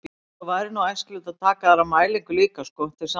Svo væri nú æskilegt að taka aðra mælingu líka sko, til samanburðar.